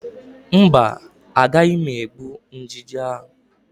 Mba, agaghị m egbu ijiji ahụ